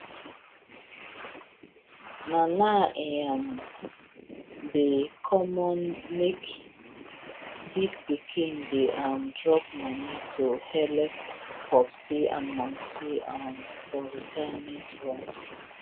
na now e um dey common make big pikin dey um drop money to helep popsi and momsi um for retirement runs